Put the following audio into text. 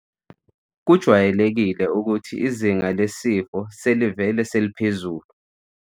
.kujwayeleke ukuthi izinga lesifo selivele seliphezulu.